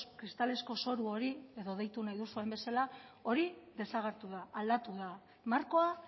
kristalezko zoru hori edo deitu nahi duzuen bezala desagertu da aldatu da markoa